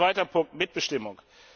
Zweiter Punkt, die Mitbestimmung.